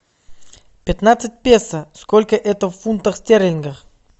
пятнадцать песо сколько это в фунтах стерлингах